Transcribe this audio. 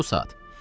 Elə bu saat.